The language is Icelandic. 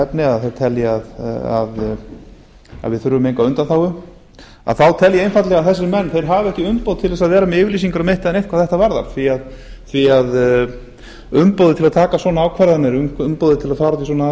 efni þeir telji að við þurfum enga undanþágu þá tel ég einfaldlega að þessir menn hafi ekki umboð til að vera með yfirlýsingar um eitt eða neitt hvað þetta varðar því að umboðið til að taka svona ákvarðanir umboðið til að fara í svona